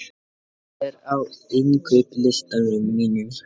Alanta, hvað er á innkaupalistanum mínum?